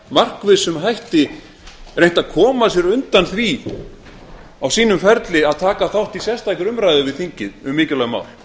markvissum hætti reynt að koma sér undan því á síum ferli að taka þátt í sérstakri umræðu við þingið um mikilvæg mál